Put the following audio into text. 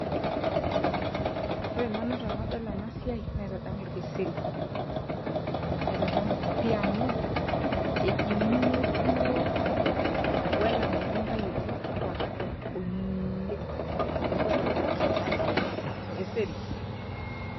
Ore nanu tenadol enasiai, naitadamu orkeseri. Aitadamu pi amu, ejing'uno duo wele matundai oji avakado oleng. Neeku enadol, nadamu orkeseri.